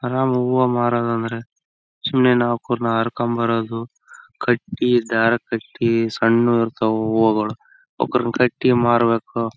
ಹ್ಮ್ಮ್ ಇಲ್ಲಿ ಹಾಕಿದ್ದಾರೆ. ಇಲ್ಲಿ ಮುಂದ್ಗಡೆ ಒಂದು ಬಸ್ ಹೋಗ್ತಾಯಿದೆ.